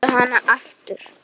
Viltu hana aftur?